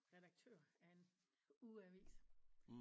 Redaktør af en ugeavis